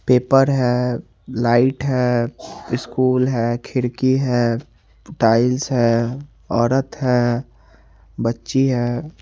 Paper है light है school है खिड़की है टाइल्स है ओरत है बच्ची है।